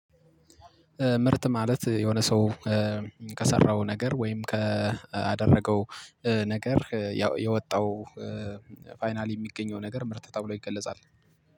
ምርት ማለት የሆነ ሰው ከሰራው ነገር ወይም ካደረገው ነገር ያው የወጣው ፋይናሊ የሚገኘው ነገር ምርት ተብሎ ይገለጻል